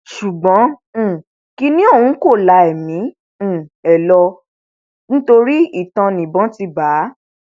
ṣùgbọn um kinní ọhún kò la ẹmí um ẹ lọ nítorí itan níbọn ti bá a